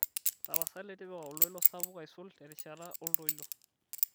tapasali tipika oltoilo sapuk aisul terishata oltoilo